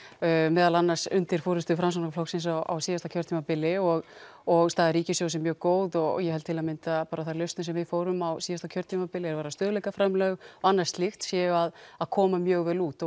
meðal annars undir forystu Framsóknarflokksins á síðasta kjörtímabili og og staða ríkissjóðs er mjög góð og ég held til að mynda að þær lausnir sem við fórum á síðasta kjörtímabili stöðugleikaframlög og annað slíkt séu að að koma mjög vel út